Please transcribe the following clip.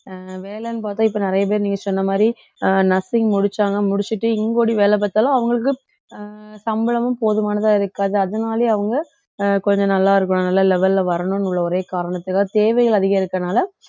அஹ் வேலைன்னு பார்த்தா இப்போ நிறைய பேர் நீங்க சொன்ன மாதிரி அஹ் nursing முடிச்சாங்க முடிச்சிட்டு இங்கே ஓடி வேலை பார்த்தாலும் அவங்களுக்கு அஹ் சம்பளமும் போதுமானதா இருக்காது அதனாலேயே அவங்க அஹ் கொஞ்சம் நல்லா இருக்கும் நல்லா level ல வரணும்னு உள்ள ஒரே காரணத்துக்காக தேவைகள் அதிகரிக்கிறதுனால